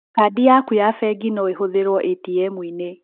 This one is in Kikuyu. Kandi yaku ya bengi no ĩhũthĩrwo ĩtiemu-inĩ.